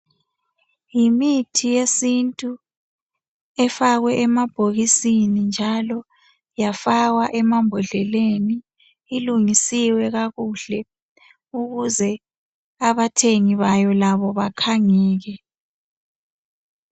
Yimithi yesintu afakwe emabhokisini njalo yafakwa emambodleleni ilungisiwe kakuhle ukuze abathengi bayo bekhangeke.